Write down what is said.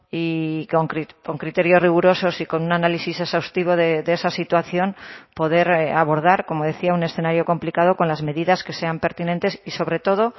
y con criterios rigurosos y con un análisis exhaustivo de esa situación poder abordar como decía un escenario complicado con las medidas que sean pertinentes y sobre todo